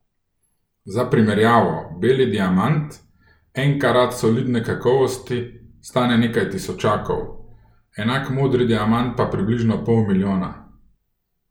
Za primerjavo, beli diamant, en karat solidne kakovosti, stane nekaj tisočakov, enak modri diamant pa približno pol milijona.